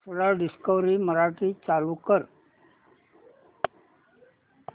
सरळ डिस्कवरी मराठी चालू कर